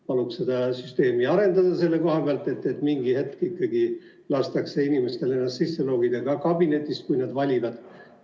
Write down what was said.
Paluks seda süsteemi arendada nii, et mingi hetk ikkagi lastakse inimestel ennast sisse logida ka kabinetis, kui nad seda soovivad.